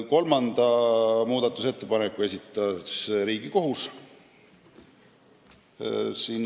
Teise muudatusettepaneku esitas Riigikohus.